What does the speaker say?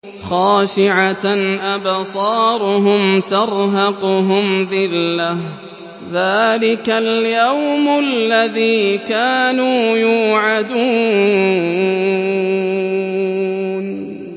خَاشِعَةً أَبْصَارُهُمْ تَرْهَقُهُمْ ذِلَّةٌ ۚ ذَٰلِكَ الْيَوْمُ الَّذِي كَانُوا يُوعَدُونَ